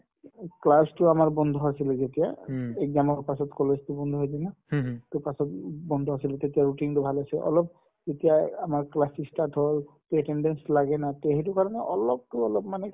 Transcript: class তো আমাৰ বন্ধ আছিলে যেতিয়া exam ৰ পাছত college তো বন্ধ দিয়ে না to পাছত উব বন্ধ আছিলে তেতিয়া routine তো ভাল হৈছে অলপ এতিয়াই আমাৰ class ই start হয় to attendance লাগে না তে সেইটো কাৰণে অলপতো অলপ মানে